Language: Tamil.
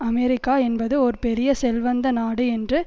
அமெரிக்கா என்பது ஒரு பெரிய செல்வந்த நாடு என்று